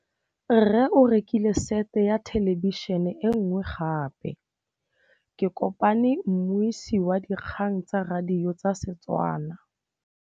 Rre o rekile sete ya thêlêbišênê e nngwe gape. Ke kopane mmuisi w dikgang tsa radio tsa Setswana.